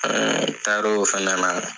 An taar'o fɛnɛ na.